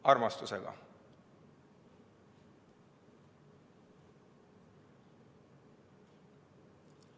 Armastusega.